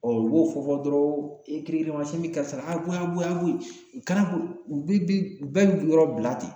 u b'o fɔ fɔ dɔrɔn e kirikirimasiyɛn bi karisa, a ye bɔ yen a ye bɔ yen u bɛɛ bi yɔrɔ bila ten